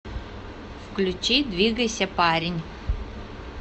включи двигайся парень